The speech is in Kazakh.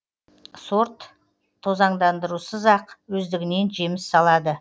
сорт тозаңдандырусыз ақ өздігінен жеміс салады